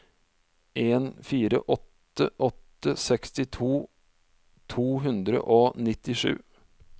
en fire åtte åtte sekstito to hundre og nittisju